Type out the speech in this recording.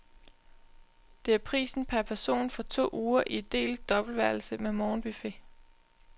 Det er prisen per person for to uger i delt dobbeltværelse med morgenbuffet.